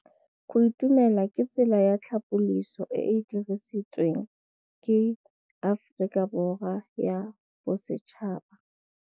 Go itumela ke tsela ya tlhapolisô e e dirisitsweng ke Aforika Borwa ya Bosetšhaba.